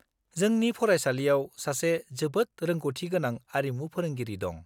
-जोंनि फरायसालियाव सासे जोबोद रोंग'थिगोनां आरिमु फोरोंगिरि दं।